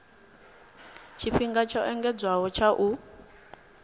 tshifhinga tsho engedzedzwaho tsha u